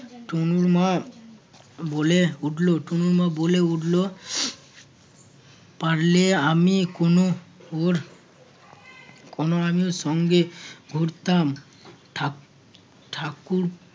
তনুর মা বলে উঠল~ তনুর মা বলে উঠল পারলে আমি কোনো ওর কোনো আমিও সঙ্গে ঘুরতাম ঠাক~ ঠাকুর